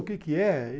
O que que é?